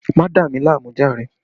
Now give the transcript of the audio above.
Má dà mí láàmú jàre!